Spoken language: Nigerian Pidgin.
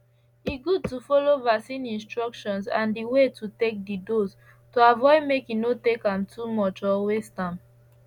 e good to follow vaccine instructions and the way to take the dose to avoid make e no take am too much or waste am